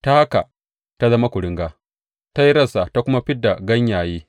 Ta haka ta zama kuringa, ta yi rassa ta kuma fid da ganyaye.